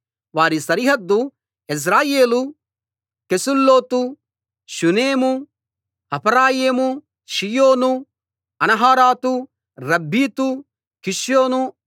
వారి సరిహద్దు Jezreel Chesulloth Shunem Hapharaim Shion Anaharath Rabbith కిష్యోను